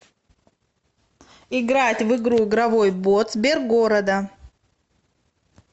играть в игру игровой бот сбергорода